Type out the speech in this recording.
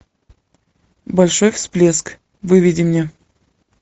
большой всплеск выведи мне